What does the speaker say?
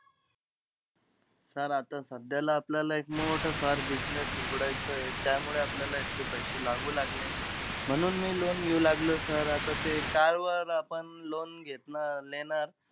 Sir आता सध्याला, आपल्याला एक मोठं फार business उघडायचंय. त्यामुळे आपल्याला इतके पैसे लागू लागले. म्हणून मी loan घेऊ लागलोय sir. आता ते car वर आपण loan घेतनार लेनार.